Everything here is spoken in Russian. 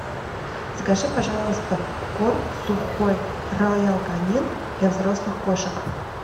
закажи пожалуйста корм сухой роял канин для взрослых кошек